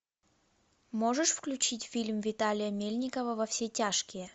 можешь включить фильм виталия мельникова во все тяжкие